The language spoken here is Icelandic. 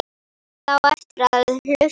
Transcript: Það á eftir að hlusta.